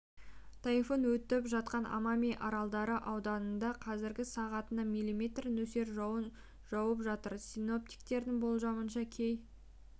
тайфун өтіп жатқан амами аралдары ауданында қазір сағатына мм нөсер жауын жауып жатыр синоптиктердің болжамынша кей